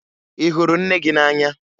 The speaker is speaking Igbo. Ị hụrụ nne gị n'anya?